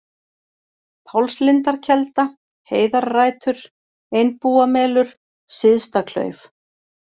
Pálslindarkelda, Heiðarrætur, Einbúamelur, Syðstaklauf